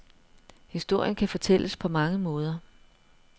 Historien kan fortælles på mange måder.